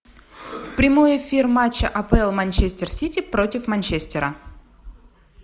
прямой эфир матча апл манчестер сити против манчестера